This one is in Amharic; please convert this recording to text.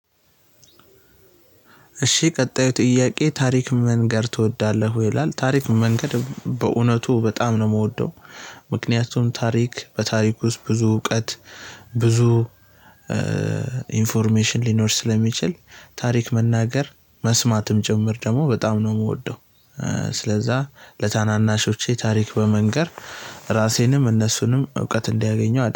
እሺ ቀጣዩ ጥያቄ ታሪክ መንገር ትወዳለህ ይላል ታሪክ መንገድ በእውነቱ በጣም ነው የምወደው። ምክንያቱም ታሪክ በታሪክ ውስጥ ብዙ እውቀት ብዙ ኢንፎርሜሽን ሊኖር ስለሚችል ታሪክ መናገር መስማትም ጭምር ደግሞ በጣም ነው የምወደው። ስለዛ ለታናናሾቼ ታሪክ በመንገር ራሴንም እነሱንም እውቀት እንዲያገኘው አደረገ